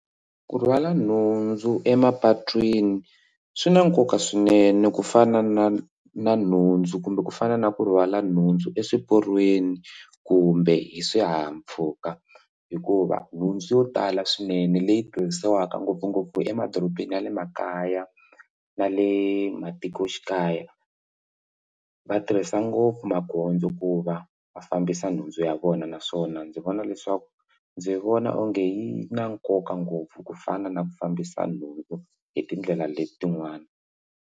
Ku rhwala nhundzu emapatwini swi na nkoka swinene ku fana na na nhundzu kumbe ku fana na ku rhwala nhundzu eswiporweni kumbe hi swihahampfhuka hikuva nhundzu yo tala swinene leyi tirhisiwaka ngopfungopfu emadorobeni ya le makaya na le matikoxikaya va tirhisa ngopfu magondzo ku va va fambisa nhundzu ya vona naswona ndzi vona leswaku ndzi vona onge yi na nkoka ngopfu ku fana na ku fambisa nhundzu hi tindlela letin'wana.